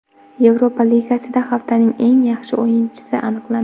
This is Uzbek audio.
Yevropa Ligasida haftaning eng yaxshi o‘yinchisi aniqlandi.